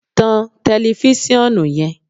tan tẹlifisiọnu yen!